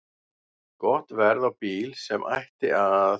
Gott verð á bíl sem ætti að